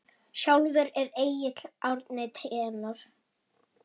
Sjálfur er Egill Árni tenór.